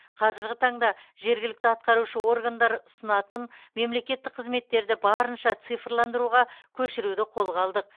қазіргі таңда жергілікті атқарушы органдар ұсынатын мемлекеттік қызметтерді барынша цифрландыруға көшіруді қолға алдық